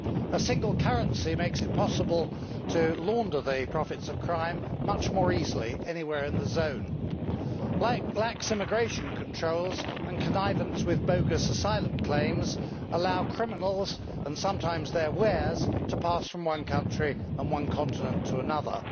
A single currency makes it possible to launder the profits of crime much more easily anywhere in the zone, just as lax immigration controls and connivance with bogus asylum claims allow criminals and sometimes their wares to pass from one country and one continent to another.